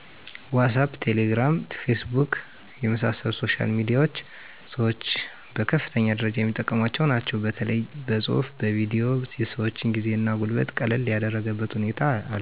ዋሳፕ :ቴሌግራም :ፌስቡክ የመሣሰሉት ሶሻል ሚዲያዎች ሠወች በከፍተኛ ደረጃ የሚጠቀሟቸው ናቸው በተለያዮ በፅሁፉ በቪዲዮ የሰወችን ጊዜ እና ጉልበት ቀለል ያደረገበት ሁኔታ አለ